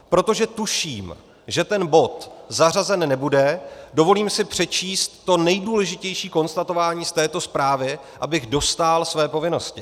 Protože tuším, že ten bod zařazen nebude, dovolím si přečíst to nejdůležitější konstatování z této zprávy, abych dostál své povinnosti.